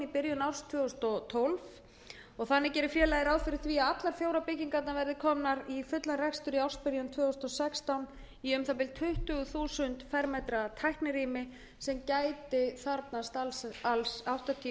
byrjun árs tvö þúsund og tólf og gerir félagið ráð fyrir því að allar fjórar byggingarnar verði komnar í fullan rekstur í ársbyrjun tvö þúsund og sextán í um það bil tuttugu þúsund fermetra tæknirými sem gæti þarfnast alls áttatíu til